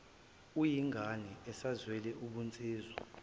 uyingane usazizwela ubunsizwa